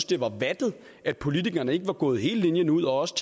det var vattet at politikerne ikke var gået hele linjen ud og også